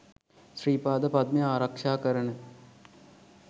ශ්‍රී පාද පද්මය ආරක්ෂා කරන